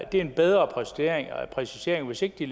det er en bedre præcisering og hvis ikke de